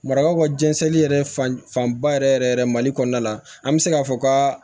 Marakaw ka jɛnsɛn yɛrɛ fanba yɛrɛ yɛrɛ mali kɔnɔna la an bɛ se k'a fɔ ka